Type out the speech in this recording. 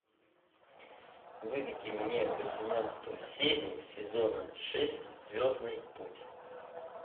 выведи мне восемнадцатую серию сезона шесть звездный путь